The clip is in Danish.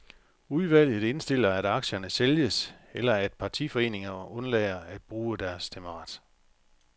Udvalget indstiller, at aktierne sælges, eller at partiforeningerne undlader at bruge deres stemmeret.